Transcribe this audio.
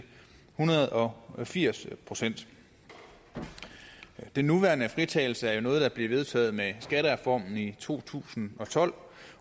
hundrede og firs procent den nuværende fritagelse er jo noget der blev vedtaget med skattereformen i to tusind og tolv